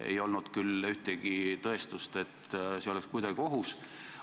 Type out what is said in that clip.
Ei olnud küll ühtegi tõestust, et see oleks kuidagi ohus.